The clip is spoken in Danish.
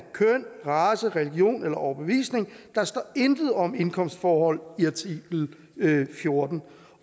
køn race religion eller overbevisning der står intet om indkomstforhold i artikel fjorten